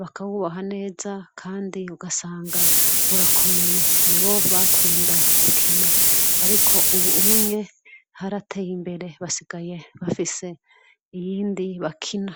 bakawuboha neza kandi ugasanga urakomeye. Niwo bakunda gukina. Ariko ubu unye barateye imbere basigaye bafise iyindi bakina.